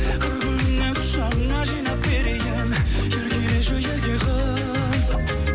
қыр гүлінен құшағыңа жинап берейін еркелеші ерке қыз